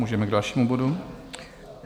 Můžeme k dalšímu bodu.